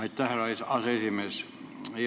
Aitäh, härra aseesimees!